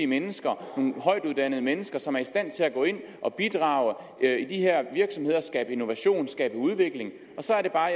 mennesker nogle højtuddannede mennesker som er i stand til at gå ind og bidrage i de her virksomheder skabe innovation skabe udvikling og så er det bare